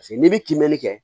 Paseke n'i bɛ kimɛni kɛ